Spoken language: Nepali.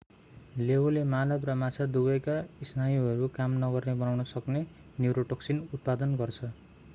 लेऊले मानव र माछा दुवैका स्नायुहरू काम नगर्ने बनाउन सक्ने न्युरोटोक्सिन उत्पादन गर्छ